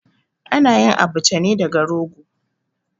A na yin Abacha ne daga rogo.